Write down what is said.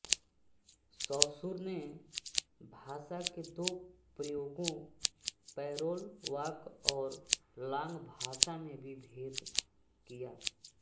Saussure ने भाषा के दो प्रयोगों पैरोल वाक और लांग भाषा में भी भेद किया